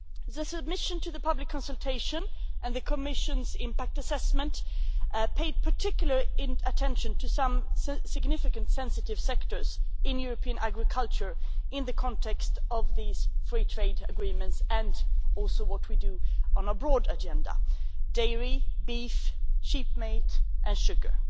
The submission to the public consultation and the Commission's impact assessment paid particular attention to some significant sensitive sectors in European agriculture in the context of these free trade agreements, and also what we do on our broad agenda dairy, beef, sheep meat and sugar.